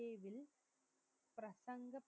பிரசங்க